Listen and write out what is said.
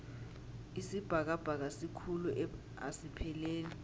isibhakabhaka sikhulu asipheleli